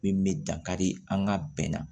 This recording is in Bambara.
Min bɛ dankari an ka bɛn na